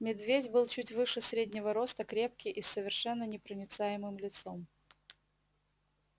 медведь был чуть выше среднего роста крепкий и с совершенно непроницаемым лицом